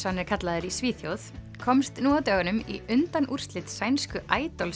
hann kallaður í Svíþjóð komst nú á dögunum í undanúrslit sænsku